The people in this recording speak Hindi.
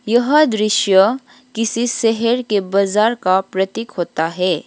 यह दृश्य किसी शहर के बाजार का प्रतीक होता है।